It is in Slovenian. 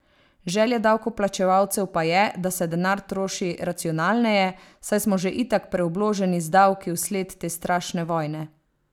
Želja davkoplačevalcev pa je, da se denar troši racionalneje, saj smo že itak preobloženi z davki vsled te strašne vojne!